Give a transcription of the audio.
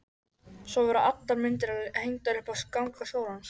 Svo voru allar myndirnar hengdar upp á ganga skólans.